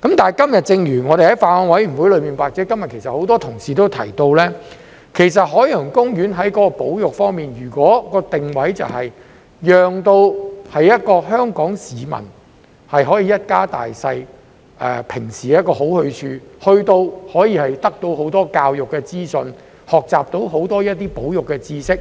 不過，正如我們在法案委員會或今天很多同事所提到，其實海洋公園在保育方面......如果其定位是香港市民一家大小平時一個好去處，在該處可以得到很多教育資訊，學習到很多保育知識，